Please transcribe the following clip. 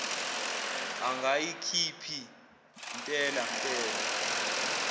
angayikhiphi mpela mpela